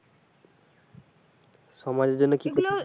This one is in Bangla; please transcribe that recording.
সমাজের জন্য কি করতে চাই